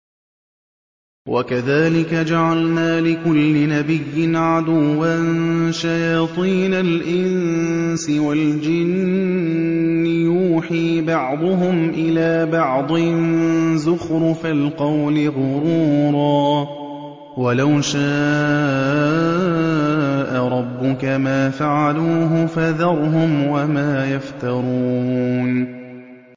وَكَذَٰلِكَ جَعَلْنَا لِكُلِّ نَبِيٍّ عَدُوًّا شَيَاطِينَ الْإِنسِ وَالْجِنِّ يُوحِي بَعْضُهُمْ إِلَىٰ بَعْضٍ زُخْرُفَ الْقَوْلِ غُرُورًا ۚ وَلَوْ شَاءَ رَبُّكَ مَا فَعَلُوهُ ۖ فَذَرْهُمْ وَمَا يَفْتَرُونَ